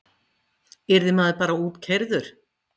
Yrði maður bara útkeyrður?